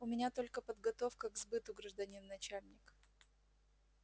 у меня только подготовка к сбыту гражданин начальник